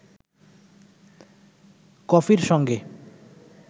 কফির সঙ্গে